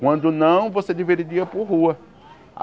Quando não, você dividiria por rua.